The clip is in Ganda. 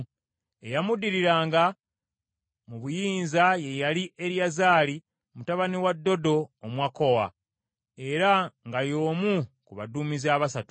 Eyamuddiriranga mu buyinza ye yali Eriyazaali mutabani wa Dodo Omwakowa, era nga y’omu ku baduumizi abasatu.